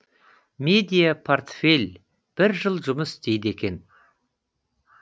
медиа портфель бір жыл жұмыс істейді екен